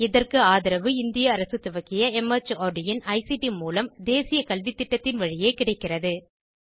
இதற்கு ஆதரவு இந்திய அரசு துவக்கிய மார்ட் இன் ஐசிடி மூலம் தேசிய கல்வித்திட்டத்தின் வழியே கிடைக்கிறது